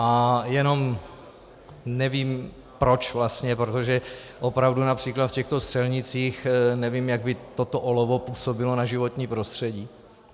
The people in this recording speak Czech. A jenom nevím, proč vlastně, protože opravdu například v těchto střelnicích nevím, jak by toto olovo působilo na životní prostředí.